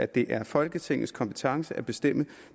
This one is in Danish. det er folketingets kompetence at bestemme